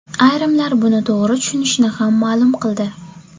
Ayrimlar buni to‘g‘ri tushunishini ham ma’lum qildi.